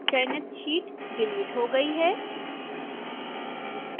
चयनित sheet delete हो गई है